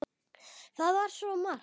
Það var svo margt.